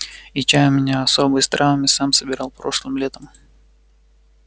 и чай у меня особый с травами сам собирал прошлым летом